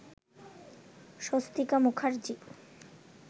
Swastika Mukherjee